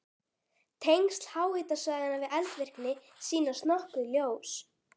Tengsl háhitasvæðanna við eldvirkni sýnast nokkuð ljós.